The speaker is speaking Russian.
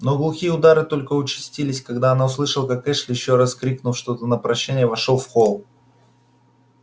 но глухие удары только участились когда она услышала как эшли ещё раз крикнув что-то на прощание вошёл в холл